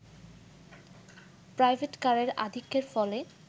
private কারের আধিক্যের ফলে